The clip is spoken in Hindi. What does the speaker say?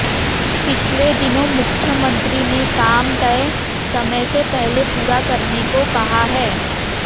पिछले दिनाें मुख्यमंत्री ने काम तय समय से पहले पूरा करने को कहा है